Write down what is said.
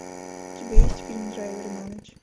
у тебя есть фильм драйвер на ночь